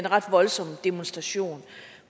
ret voldsom demonstration